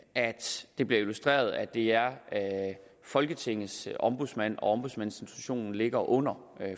det bliver illustreret at det er folketingets ombudsmand og at ombudsmandsinstitutionen ligger under